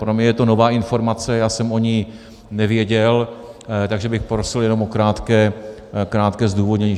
Pro mě je to nová informace, já jsem o ní nevěděl, takže bych prosil jenom o krátké zdůvodnění.